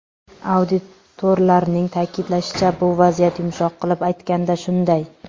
Auditorlarning ta’kidlashicha, bu vaziyat yumshoq qilib aytganda shunday.